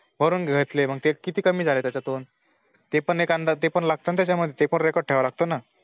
भरून घेतलॆ मग किती कमी झाले त्याच्यातून ते पण एक अंदाज ते पण लागत ना त्याच्यामध्ये ते पण Record ठेवावं लागत ना